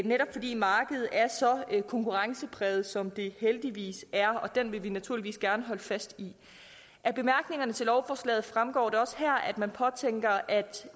netop fordi markedet er så konkurrencepræget som det heldigvis er det vil vi naturligvis gerne holde fast i af bemærkningerne til lovforslaget fremgår det også her at man påtænker at